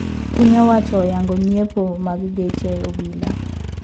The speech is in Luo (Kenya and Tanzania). Piny owacho oyango nyiepo mag geche obila